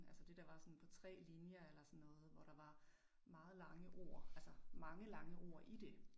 Altså det der var sådan på 3 linjer eller sådan noget, hvor der var meget lange ord altså mange lange ord i det